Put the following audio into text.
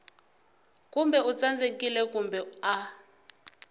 kumbe u tsandzekile kumbe a